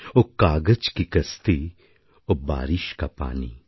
ও কাগজ কি কশ্টি ও বারিষ কা পানি